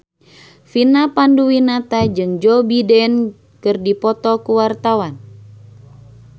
Vina Panduwinata jeung Joe Biden keur dipoto ku wartawan